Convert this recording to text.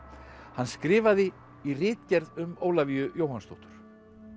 hann skrifaði í ritgerð um Ólafíu Jóhannsdóttur